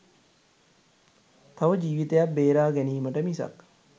තව ජීවිතයක් බේරා ගැනීමට මිසක්